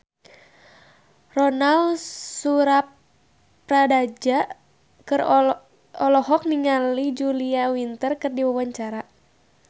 Ronal Surapradja olohok ningali Julia Winter keur diwawancara